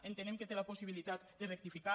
entenem que té la possibilitat de rectificar